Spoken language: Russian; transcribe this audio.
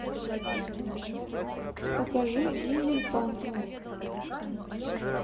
покажи дизель панк